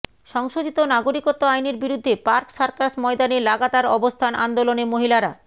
সংশোধিত নাগরিকত্ব আইনের বিরুদ্ধে পার্ক সার্কাস ময়দানে লাগাতার অবস্থান আন্দোলনে মহিলারা